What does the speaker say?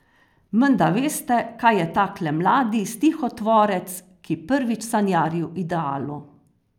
Menda veste kaj je takle mladi stihotvorec, ki prvič sanjari o idealu.